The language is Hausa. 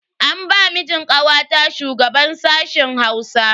An ba mijin kawata shugaban sashen Hausa.